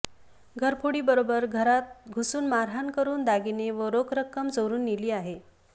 घरफोडीबरोबर घरा घुसून मारहाण करून दागिने व रोख रक्कम चोरून नेली आहे